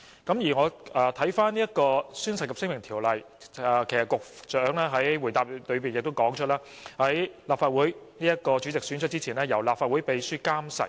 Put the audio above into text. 正如局長在主體答覆中已指出，《條例》訂明，如果宣誓在選舉立法會主席之前作出，須由立法會秘書監誓。